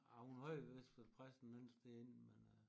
Ah hun har jo vist været præst en anden sted inden men øh